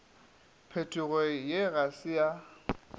phetogo ye ga se ya